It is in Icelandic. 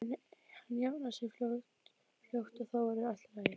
Hann jafnar sig fljótt og þá verður allt í lagi.